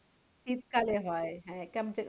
শীতকালে হয় হ্যাঁ